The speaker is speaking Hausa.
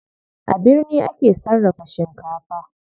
A birni ake sarrafa shinkafa.